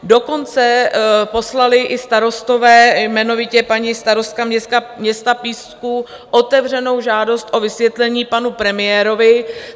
Dokonce poslali i starostové, jmenovitě paní starostka města Písku, otevřenou žádost o vysvětlení panu premiérovi.